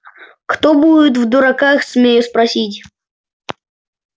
кто будет в дураках смею спросить